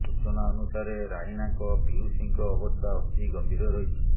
ସୂଚନା ଅନୁସାରେ ରାଇନାଙ୍କ ପିଉସୀଙ୍କ ଅବସ୍ଥା ଅତି ଗମ୍ଭୀର ରହିଛି